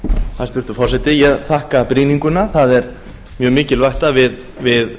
hæstvirtur forseti ég þakka brýninguna það er mjög mikilvægt að við